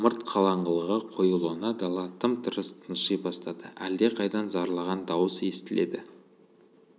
ымырт қараңғылығы қоюлана дала тым-тырыс тынши бастады әлдеқайдан зарлаған дауыс естіледі